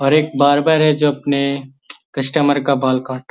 और एक बार्बर है जो अपने कस्टमर का बाल काट --